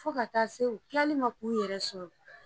Fo ka taa se u tilali ma k'u yɛrɛ sɔrɔ